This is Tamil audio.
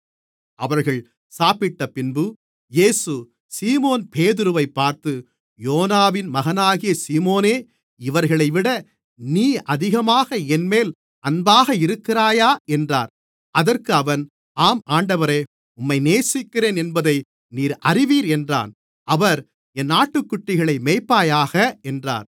அவர்கள் சாப்பிட்டபின்பு இயேசு சீமோன்பேதுருவைப் பார்த்து யோனாவின் மகனாகிய சீமோனே இவர்களைவிட நீ அதிகமாக என்மேல் அன்பாக இருக்கிறாயா என்றார் அதற்கு அவன் ஆம் ஆண்டவரே உம்மை நேசிக்கிறேன் என்பதை நீர் அறிவீர் என்றான் அவர் என் ஆட்டுக்குட்டிகளை மேய்ப்பாயாக என்றார்